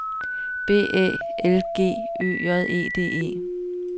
B Æ L G Ø J E D E